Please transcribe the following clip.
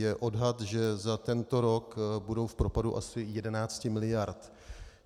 Je odhad, že za tento rok budou v propadu asi 11 mld.